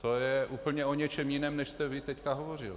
To je úplně o něčem jiném, než jste vy teď hovořil.